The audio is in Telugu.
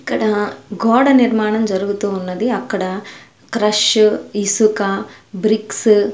ఇక్కడ గోడ నిర్మాణం జరుగుతూ ఉన్నది అక్కడ క్రష్ ఇసుక బ్రిక్సు --